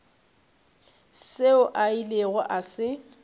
seo a ilego a se